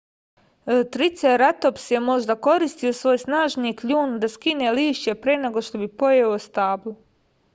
triceratops je možda koristio svoj snažni kljun da skine lišće pre nego što bi pojeo stablo